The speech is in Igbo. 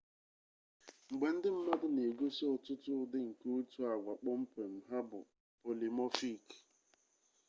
mgbe ndị mmadụ na-egosi ọtụtụ ụdị nke otu agwa kpọmkwem ha bụ polimọfik